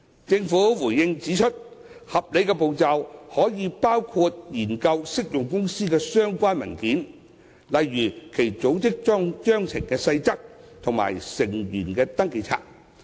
政府回應時指出，合理步驟可以包括研究適用公司備存的相關文件，例如其組織章程的細則和成員登記冊。